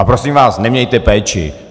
A prosím vás, nemějte péči.